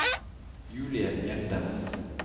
Julie Mjelde